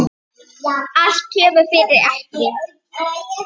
Allt kemur fyrir ekki.